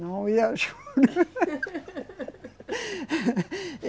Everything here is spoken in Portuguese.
Não, eu ajudo.